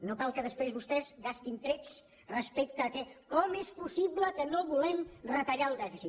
no cal que després vostès gastin trets respecte a com és possible que no vulguem retallar el dèficit